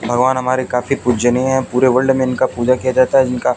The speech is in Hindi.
भगवान हमारे काफी पूजनीय हैं पूरे वर्ल्ड में इनका पूजा किया जाता है इनका।